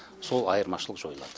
сол айырмашылық жойылады